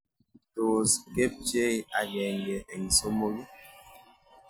Tos' kepchei agenge eng' somok ii